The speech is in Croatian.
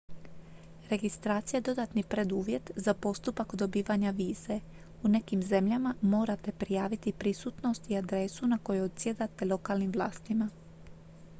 registracija je dodatni preduvjet za postupak dobivanja vize u nekim zemljama morate prijaviti prisutnost i adresu na kojoj odsjedate lokalnim vlastima